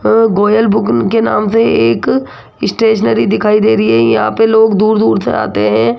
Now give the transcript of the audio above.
के नाम से एक स्टेशनरी दिखाई दे रही है। यहां पे लोग दूर दूर से आते हैं।